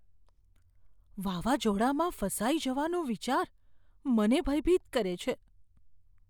વાવાઝોડામાં ફસાઈ જવાનો વિચાર મને ભયભીત કરે છે.